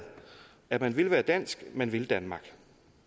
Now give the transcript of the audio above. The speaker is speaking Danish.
at man vil være dansk at man vil danmark